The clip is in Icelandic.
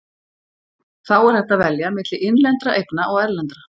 Þá er hægt að velja milli innlendra eigna og erlendra.